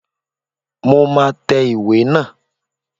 Mo máa tẹ ìwé naa